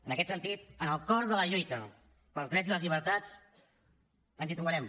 en aquest sentit en el cor de la lluita pels drets i les llibertats ens hi trobarem